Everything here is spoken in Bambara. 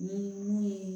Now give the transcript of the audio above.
Ni mun ye